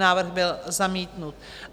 Návrh byl zamítnut.